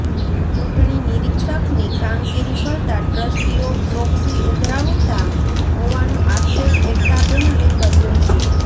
ચૂટણી નિરીક્ષકની કામગીરી કરતા ટ્ર્સ્ટીઓ પ્રોક્સી ઉઘરાવતા હોવાનો આક્ષેપ એકતા પેનલે કર્યો છે